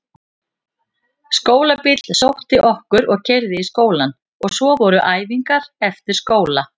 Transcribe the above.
Skólabíll sótti okkur og keyrði í skólann og svo voru æfingar eftir skóla.